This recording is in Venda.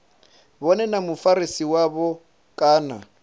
vhone na mufarisi wavho kana